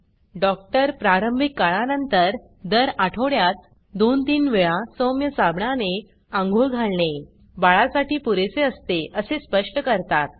doctor प्रारंभिक काळानंतर दर आठवड्यात 2 3 वेळा सौम्य साबणाने अंघोळ घालणे बाळा साठी पुरेसे असते असे स्पष्ट करतात